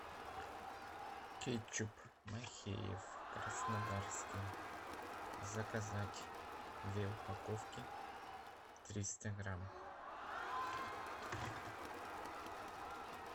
кетчуп махеев краснодарский заказать две упаковки триста грамм